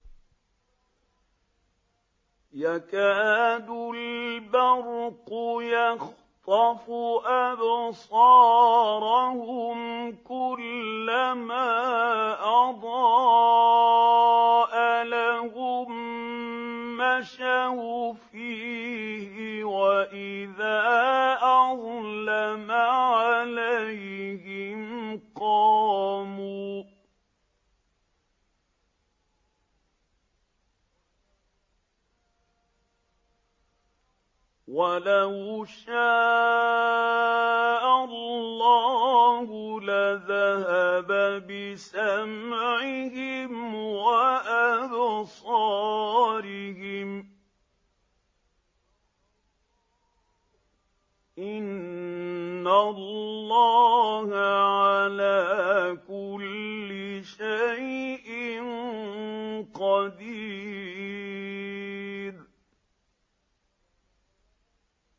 يَكَادُ الْبَرْقُ يَخْطَفُ أَبْصَارَهُمْ ۖ كُلَّمَا أَضَاءَ لَهُم مَّشَوْا فِيهِ وَإِذَا أَظْلَمَ عَلَيْهِمْ قَامُوا ۚ وَلَوْ شَاءَ اللَّهُ لَذَهَبَ بِسَمْعِهِمْ وَأَبْصَارِهِمْ ۚ إِنَّ اللَّهَ عَلَىٰ كُلِّ شَيْءٍ قَدِيرٌ